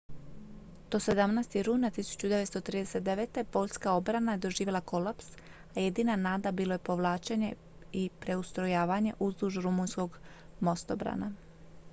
do 17. rujna 1939. poljska obrana je doživjela kolaps a jedina nada bilo je povlačenje i preustrojavanje uzduž rumunjskog mostobrana